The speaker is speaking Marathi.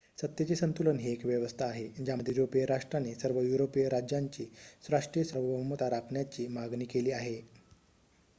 सत्तेचे संतुलन ही एक व्यवस्था आहे ज्यामध्ये युरोपिय राष्ट्रांनी सर्व युरोपिय राज्यांची राष्ट्रीय सार्वभौमता राखण्याची मागणी केली आहे